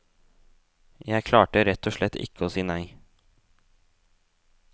Jeg klarte rett og slett ikke å si nei.